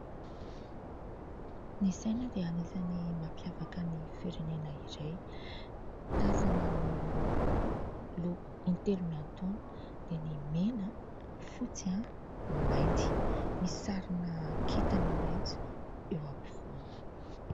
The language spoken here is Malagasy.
Ny saina dia anisany mampiavaka ny firenena iray. Tazana ny loko intelo miantoana dia ny mena, fotsy, ny mainty ; misy sarina kintana mainty eo ampovoany.